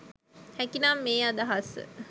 හැකිනම් මේ අදහස